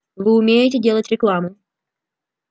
вы умеете делать рекламу